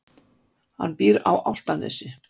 Hann býr á Álftanesi.